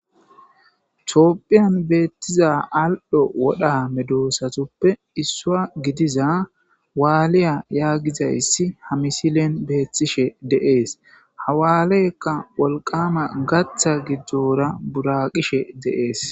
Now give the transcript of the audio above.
Tophian betiza alio wora medosatuppe issua gidiza waliya yagizayisi ha missiliyan betishe deas ha waleka woliqama gata gidora buraqeshe des.